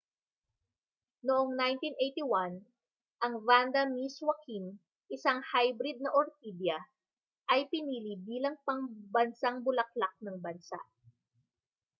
noong 1981 ang vanda miss joaquim isang hybrid na orkidya ay pinili bilang pambansang bulaklak ng bansa